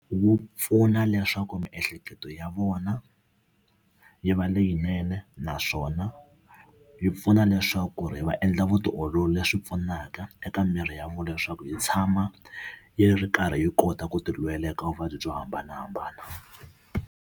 Wu pfuna leswaku miehleketo ya vona yi va leyinene naswona yi pfuna leswaku ri va endla vutiolori leswi pfunaka eka miri ya vona leswaku yi tshama yi ri karhi yi kota ku ti lwela eka vuvabyi byo hambanahambana.